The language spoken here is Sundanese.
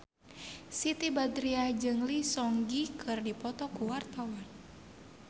Siti Badriah jeung Lee Seung Gi keur dipoto ku wartawan